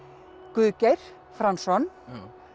Guðgeir Franzson